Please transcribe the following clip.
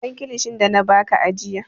Ban kilishin da na ba ka ajiya!